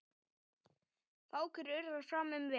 Fákur urrar fram um veg.